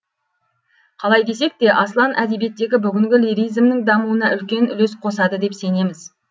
қалай десек те аслан әдебиеттегі бүгінгі лиризмнің дамуына үлкен үлесқосады деп сенеміз